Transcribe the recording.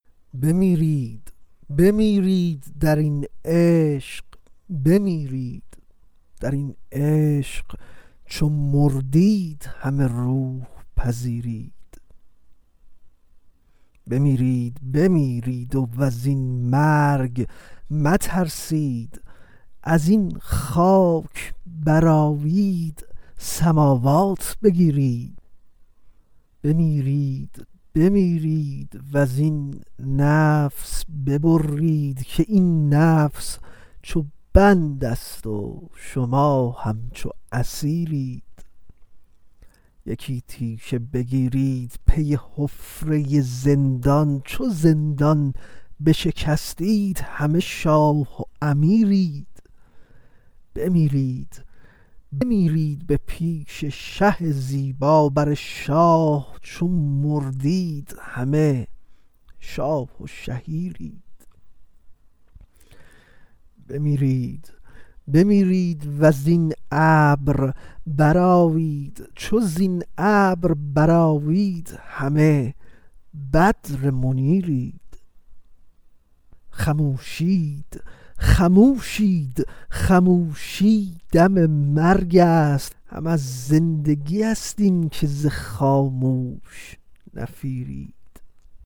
بمیرید بمیرید در این عشق بمیرید در این عشق چو مردید همه روح پذیرید بمیرید بمیرید و زین مرگ مترسید کز این خاک برآیید سماوات بگیرید بمیرید بمیرید و زین نفس ببرید که این نفس چو بندست و شما همچو اسیرید یکی تیشه بگیرید پی حفره زندان چو زندان بشکستید همه شاه و امیرید بمیرید بمیرید به پیش شه زیبا بر شاه چو مردید همه شاه و شهیرید بمیرید بمیرید و زین ابر برآیید چو زین ابر برآیید همه بدر منیرید خموشید خموشید خموشی دم مرگست هم از زندگیست اینک ز خاموش نفیرید